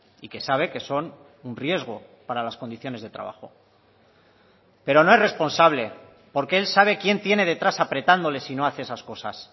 y que sabe que son un riesgo para las condiciones de trabajo pero no es responsable porque él sabe quién tiene detrás apretándole si no hace esas cosas